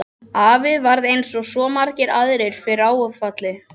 Afi varð eins og svo margir aðrir fyrir áfalli.